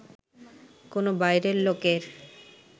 কোন বাইরের লোকের